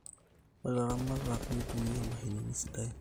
ore ilaramatak nitumia mashinini sadain